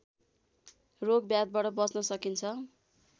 रोगब्याधबाट बच्न सकिन्छ